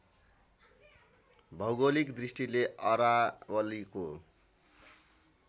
भौगोलिक दृष्टिले अरावलीको